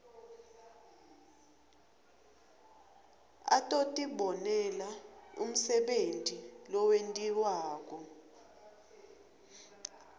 atotibonela umsebenti lowentiwako